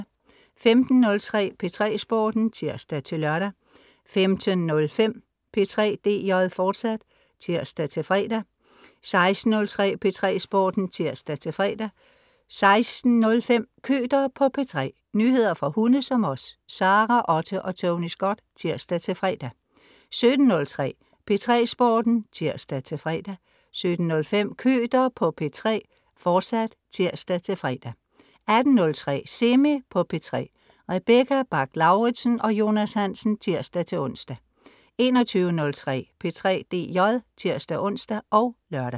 15.03 P3 Sporten (tirs-lør) 15.05 P3 DJ, fortsat (tirs-fre) 16.03 P3 Sporten (tirs-fre) 16.05 Køter på P3. nyheder for hunde som os. Sara Otte og Tony Scott (tirs-fre) 17.03 P3 Sporten (tirs-fre) 17.05 Køter på P3, fortsat (tirs-fre) 18.03 Semi på P3. Rebecca Bach-Lauritsen og Jonas Hansen (tirs-ons) 21.03 P3 DJ (tirs-ons og lør)